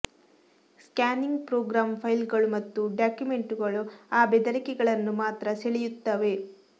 scanning program ಫೈಲ್ಗಳು ಮತ್ತು ಡಾಕ್ಯುಮೆಂಟ್ಗಳು ಆ ಬೆದರಿಕೆಗಳನ್ನು ಮಾತ್ರ ಸೆಳೆಯುತ್ತವೆ